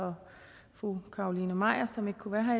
for fru carolina magdalene maier som ikke kunne være her